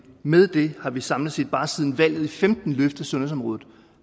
med det har vi samlet set bare siden valget i femten løftet sundhedsområdet